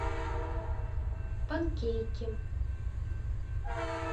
панкейки